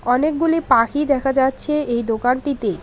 অনেকগুলি পাখি দেখা যাচ্ছে এই দোকানটিতে।